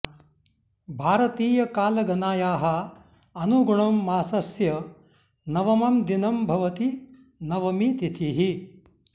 भारतीयकालगनायाः अनुगुणं मासस्य नवमं दिनं भवति नवमी तिथिः